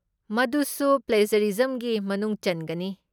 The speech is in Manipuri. ꯃꯗꯨꯁꯨ ꯄ꯭ꯂꯦꯖꯔꯤꯖꯝꯒꯤ ꯃꯅꯨꯡ ꯆꯟꯒꯅꯤ ꯫